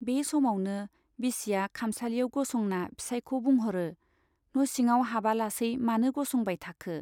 बे समावनो बिसिया खामसालियाव गसंना फिसाइखौ बुंहरो न' सिङाव हाबालासै मानो गसंबाय थाखो ?